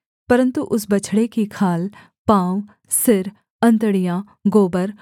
परन्तु उस बछड़े की खाल पाँव सिर अंतड़ियाँ गोबर